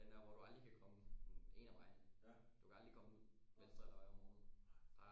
Den der hvor du aldrig kan komme en af vejene du kan aldrig komme ud venstre eller højre om morgenen